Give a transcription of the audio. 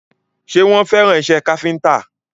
Ṣé wọ́n fẹ́ràn isẹ́ káfíntà?